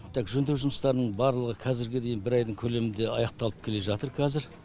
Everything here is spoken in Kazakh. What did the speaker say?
так жөндеу жұмыстарының барлығы қазіргідей бір айдың көлемінде аяқталып келе жатыр қазір